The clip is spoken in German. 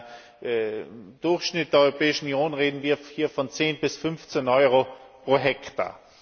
Im Durchschnitt der Europäischen Union reden wir hier von 10 bis 15 Euro pro Hektar.